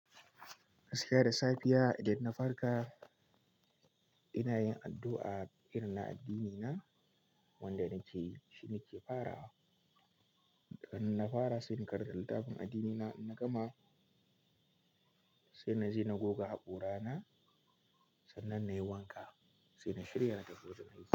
Gaskiya da safiya idan na farka ina yin addu'a irin na addinina wanda nake yi, shine ke farawa. iDan na fara sai in karanta littafin addinina in na gama, sai na je na goga haƙora na sannan na yi wanka sai na shirya na tafi wajen aiki.